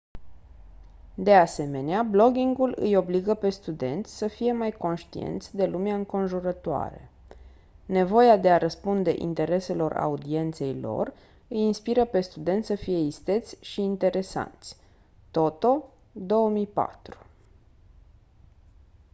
de asemenea bloggingul «îi obligă pe studenți să fie mai conștienți de lumea înconjurătoare». nevoia de a răspunde intereselor audienței lor îi inspiră pe studenți să fie isteți și interesanți toto 2004.